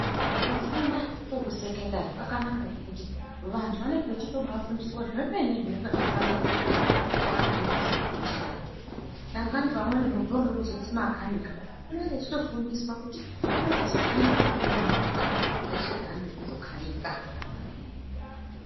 Kufunda kwekusekendari kwakanaka ngekuti vantu vanenge vachitobafundiswa zvemene zvinenge zveifanira kuita. Dangani pamweni muntu unenge echida kuzoita makanika unenge eitofundiswa kuti unozokanika sei movha dzeshe dzaanenge eizokanika.